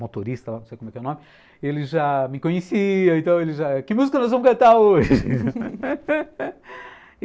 motorista, não sei como é que é o nome, ele já me conhecia, então ele já, que música nós vamos cantar hoje?